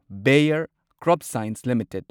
bear CropScience limited